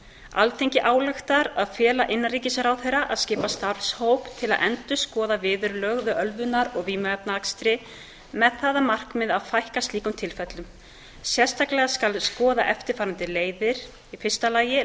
alþingi ályktar að fela innanríkisráðherra að skipa starfshóp til að endurskoða viðurlög við ölvunar og vímuefnaakstri með það að markmiði að fækka slíkum tilfellum sérstaklega skal skoða eftirfarandi leiðir fyrsta